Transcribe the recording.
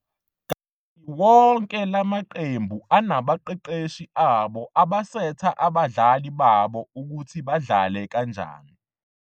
Kanti wonke lamaqembu anabaqeqeshi abo abasetha abadlali babo ukuthi badlale kanjani.